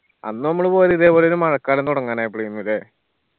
അന്ന് നമ്മള് പോയത് ഇതേപോലൊരു മഴക്കാലം തൊടങ്ങാനായപ്പോളേയ്ന് ല്ലേ